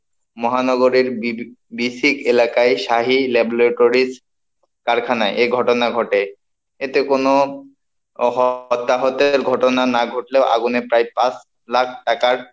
মহানগরের B B BSCIC এলাকায় Shahi Laboratories কারখানায়, এ ঘটনা ঘটে, এতে কোন অহ অত্যাহতের ঘটনা না ঘটলেও আগুনে প্রায় পাঁচ লাখ টাকার,